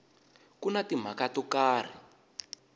ku na timhaka to karhi